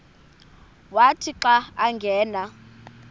wathi xa angena